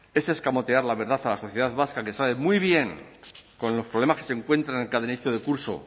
es escamotear la verdad a la sociedad vasca que sabe muy bien con los problemas que se encuentran en cada inicio de curso